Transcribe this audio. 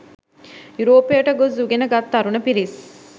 යුරෝපයට ගොස් උගෙන ගත් තරුණ පිරිස්